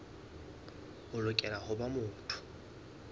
o lokela ho ba motho